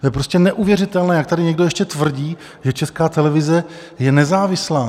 To je prostě neuvěřitelné, jak tady někdo ještě tvrdí, že Česká televize je nezávislá.